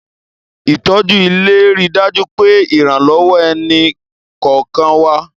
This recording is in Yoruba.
Ìtọ́jú ilé ń rí dájú pé ìrànlọ́wọ́ ẹni kọ̀ọ̀kan wa